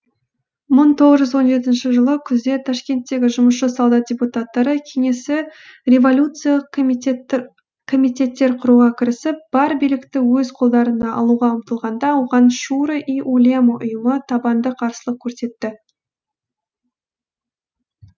мың тоғыз жүз он жетінші жылы күзде ташкенттегі жұмысшы солдат депутаттары кеңесі революциялық комитеттер құруға кірісіп бар билікті өз қолдарына алуға ұмтылғанда оған шуро и улема ұйымы табанды қарсылық көрсетті